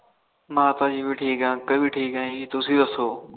ਮਾਤਾ ਜੀ ਵੀ ਠੀਕ ਅੰਕਲ ਵੀ ਠੀਕ ਤੁਸੀ ਦੱਸੋ